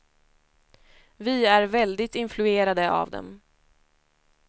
Vi är väldigt influerade av dem.